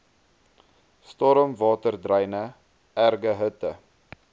stormwaterdreine erge hitte